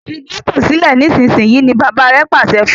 Fí getto sile nísìsiyìí! ní bàbá rẹ pàṣẹ fún.